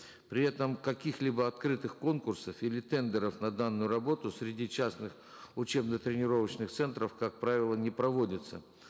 при этом каких либо открытых конкурсов или тендеров на данную работу среди частных учебно тренировочных центров как правило не проводится